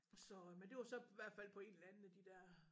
Så men det var så hvert fald på en eller anden af de der